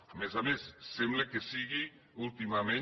a més a més sembla que sigui últimament